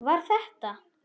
Var þetta.?